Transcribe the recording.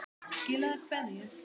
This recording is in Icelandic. Skilaðu kveðju!